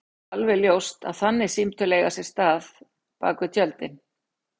Það er alveg ljóst að þannig símtöl eiga sér stað bak við tjöldin.